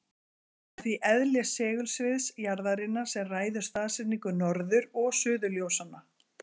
Það er því eðli segulsviðs jarðarinnar sem ræður staðsetningu norður- og suðurljósanna.